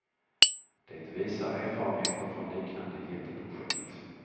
Det visar erfarenheter från liknande jätteprojekt.